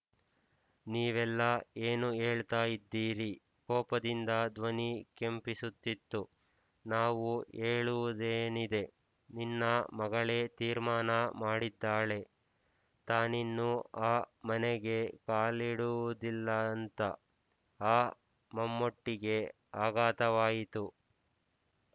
ನೀವೆಲ್ಲಾ ಏನು ಹೇಳ್ತಾ ಇದ್ದೀರಿ ಕೋಪದಿಂದ ಧ್ವನಿ ಕೆಂಪಿಸುತ್ತಿತ್ತು ನಾವು ಹೇಳುವುದೇನಿದೆ ನಿನ್ನ ಮಗಳೇ ತೀರ್ಮಾನ ಮಾಡಿದ್ದಾಳೆ ತಾನಿನ್ನು ಆ ಮನೆಗೆ ಕಾಲಿಡುವುದಿಲ್ಲಾಂತ ಆಂ ಮಮ್ಮೂಟಿಗೆ ಆಘಾತವಾಯಿತು